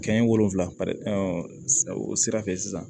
Kɛɲɛ wolonfila o sira fɛ sisan